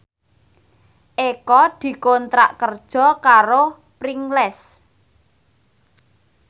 Eko dikontrak kerja karo Pringles